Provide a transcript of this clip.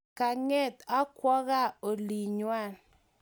Kanget ak kowa gaa olingwany